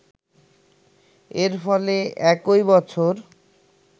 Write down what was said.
এর ফলে একই বছর